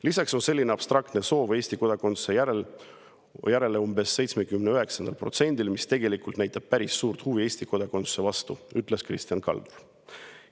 Lisaks on selline abstraktne soov Eesti kodakondsuse järele umbes 79%‑l, mis näitab päris suurt huvi Eesti kodakondsuse vastu, ütles Kristjan Kaldur.